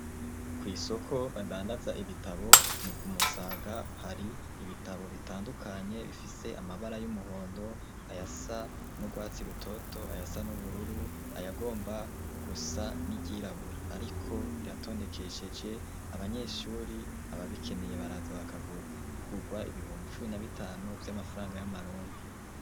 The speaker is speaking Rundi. Kwisoko badandaza ibitabo ni ku Musaga hari ibitabo bitandukanye bifise amabara y'umuhondo ayasa n'urwatsi rutoto ayasa n'ubururu ayagomba gusa niryirabura ariko biratondekesheje abanyeshuri aba bikeneye baraza bakagura bigugwa ibihumbi ichumi nabitanu vy'amafaranga y'amarundi.